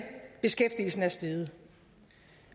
beskæftigelsen er steget